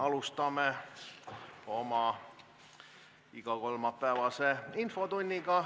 Alustame oma igakolmapäevast infotundi.